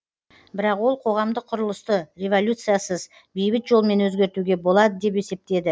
бірақ ол қоғамдық құрылысты революциясыз бейбіт жолмен өзгертуге болады деп есептеді